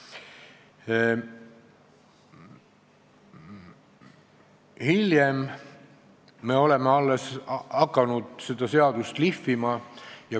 Alles hiljem me oleme hakanud seda seadust lihvima.